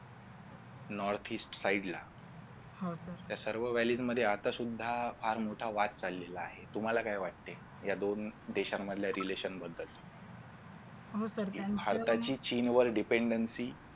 north east side ला त्या सर्व वालीद मध्ये आता सुद्धा वाद चाललेला आहे तुम्हाला काय वाटते या दोन दिशांमधल्या relation बद्दल हि भारताची चीनवर dependency